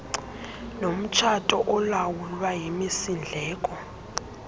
nomtshato olawulwa yimisindleko